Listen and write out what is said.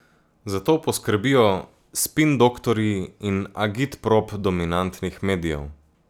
Za to poskrbijo spindoktorji in agitprop dominantnih medijev.